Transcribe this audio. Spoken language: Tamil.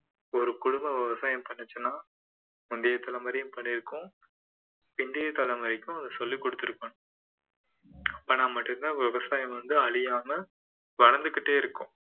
ஒரு குடும்பம் விவசாயம் பண்ணுச்சுன்னா முந்தைய தலைமுறையும் பண்ணிருக்கும் இன்றைய தலைமுறைக்கும் அதை சொல்லிக் கொடுத்திருப்பாங்க மட்டும் தான் விவசாயம் வந்து அழியாம வளர்ந்துகிட்டே இருக்கும்